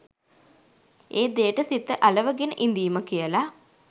ඒ දෙයට සිත අලවගෙන ඉඳීම කියල.